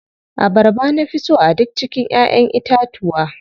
Abarba na fi so a duk cikin ƴaʼƴen itatuwa.